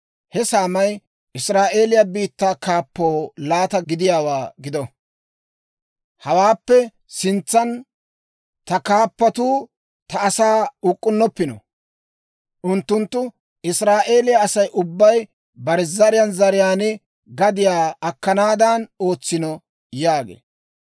He saamay Israa'eeliyaa biittaa kaappoo laata gadiyaa gido. Hawaappe sintsan ta kaappatuu ta asaa uk'k'unnoppino; unttunttu Israa'eeliyaa Asay ubbay bare zariyaan zariyaan gadiyaa akkanaadan ootsino» yaagee.